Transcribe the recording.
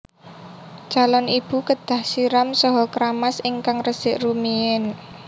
Calon ibu kedah siram saha kramas ingkang resik rumiyin